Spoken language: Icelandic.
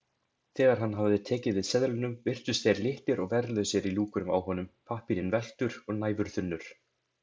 Þegar hann hafði tekið við seðlunum virtust þeir litlir og verðlausir í lúkunum á honum, pappírinn velktur og næfurþunnur.